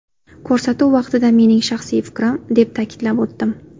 Ko‘rsatuv vaqtida mening shaxsiy fikrim, deb ta’kidlab o‘tdim.